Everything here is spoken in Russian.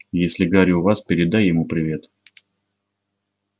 если гарри у вас передай ему привет